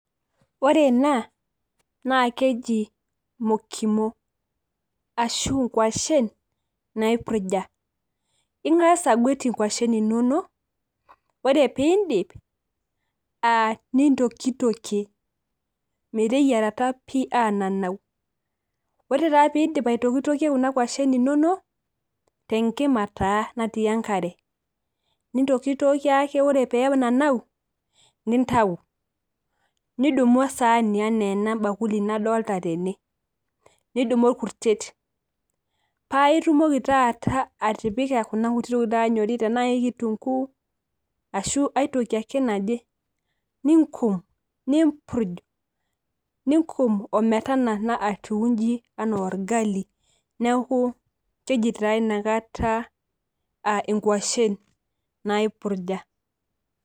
ore ena naa keji mokimu, ashu nkwashen naipurja. ingas anguet inkwashen inonok, ore pee iidip nintokitokie meteyiarata aaanananu. ore taa pee iidip aitokitokie kuna kwashen inonok, tenkima taa natii ekare. nintokitokie ake ore pee enanau, nintau, nidumu esaani ana ena bakuli nadolita tene. nidumu orkurtet paa itumoki taata atipika kuna kuti tokitin naanyori, tenaa kitunguu ashu aitoki ake naje, ninko, nimpurj, ninkum ometanana atiu anaa orgali, neeku keji taa ina kata nkwashen naipurja.